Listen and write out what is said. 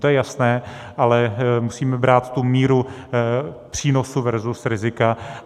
To je jasné, ale musíme brát tu míru přínosu versus rizika.